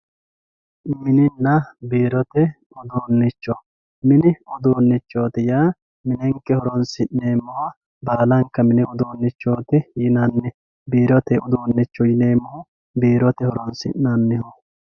Mininna biirote uduunnicho; mini uduunnichoti yaa minenke horonsi'neemmoha baalanka mini uduunnichooti yinanni, biirote uduunnicho yineemmohu biirote horonsi'nanniho